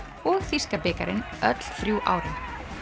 og þýska bikarinn öll þrjú árin